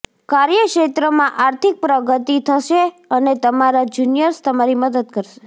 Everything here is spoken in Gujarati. કાર્યક્ષેત્રમાં આર્થિક પ્રગતિ થશે અને તમારા જૂનિયર્સ તમારી મદદ કરશે